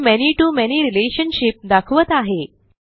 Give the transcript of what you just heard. हे many to many relationship दाखवत आहे